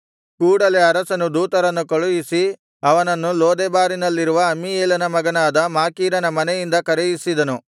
ಕೂಡಲೆ ಅರಸನು ದೂತರನ್ನು ಕಳುಹಿಸಿ ಅವನನ್ನು ಲೋದೆಬಾರಿನಲ್ಲಿರುವ ಅಮ್ಮೀಯೇಲನ ಮಗನಾದ ಮಾಕೀರನ ಮನೆಯಿಂದ ಕರೆಯಿಸಿದನು